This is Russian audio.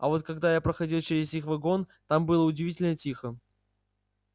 а вот когда я проходил через их вагон там было удивительно тихо